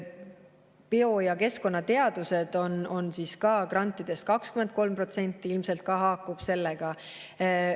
Bio- ja keskkonnateadused on grantidest 23%, ilmselt see ka haakub sellega.